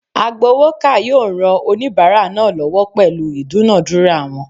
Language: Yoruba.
Agbowoka yoo ran onibara naa lowo pelu idunadura won